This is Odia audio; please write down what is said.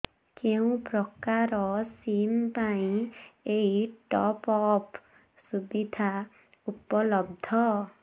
କେଉଁ ପ୍ରକାର ସିମ୍ ପାଇଁ ଏଇ ଟପ୍ଅପ୍ ସୁବିଧା ଉପଲବ୍ଧ